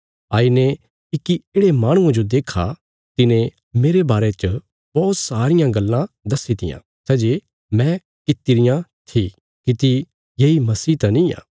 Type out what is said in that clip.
आईने इक्की येढ़े माहणुये जो देक्खा तिने मेरे बारे च बौहत सारियां गल्लां दस्सीत्या सै जे मैं किति रियां थी किति येई मसीह त निआं